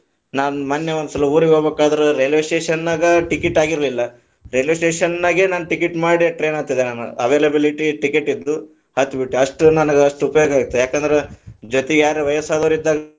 ನಾನ್ ಮೊನ್ನೆ ಒಂದ ಸಲಾ ಊರಿಗ ಹೋಗ್ಬೇಕಾದ್ರ ರೈಲ್ವೆ station ನಾಗ ticket ಆಗಿರಲಿಲ್ಲಾ, ರೈಲ್ವೆ station ನಾಗೇ ನಾನ ticket ಮಾಡಿ train ಹತ್ತಿದೆ ನಾನ availability ticket ಇದ್ವು ಹಥ್ಬಿಟ್ಟೆ ಅಷ್ಟ, ನಾನ ಅಷ್ಟ ಉಪಯೋಗ ಆಯಿತು, ಯಾಕಂದ್ರ ಜೋತಿಗ ಯಾರರ ವಯ್ಯಸ್ಸಾದವರು ಇದ್ದಾಗ.